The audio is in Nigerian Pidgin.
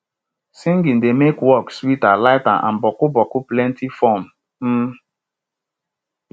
singing de make work sweeter lighter and boku boku plenti fun um